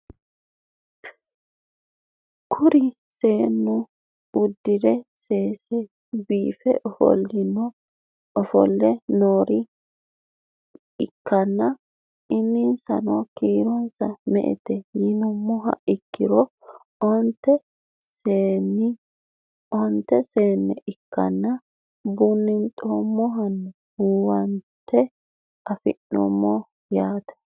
Kuri seenu udire sesena biife ofoole noore ikana insano kiro me'ete yinumoha ikiro oonte seene ikansa bunxemonna huwante afime yaate??